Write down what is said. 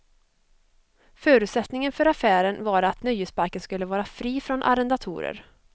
Förutsättningen för affären var att nöjesparken skulle vara fri från arrendatorer.